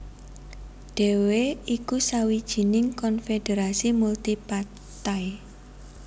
dhéwé iku sawijining konfederasi multi partai